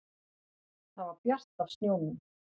Það var bjart af snjónum.